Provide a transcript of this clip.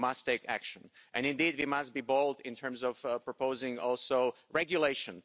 We must take action, and indeed, we must be bold in terms of proposing also regulation.